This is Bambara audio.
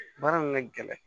Baara nin ka gɛlɛn